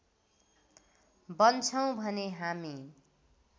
बन्छौँ भने हामी